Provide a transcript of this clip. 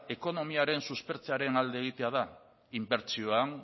ekonomiaren suspertzearen alde egitea da inbertsioan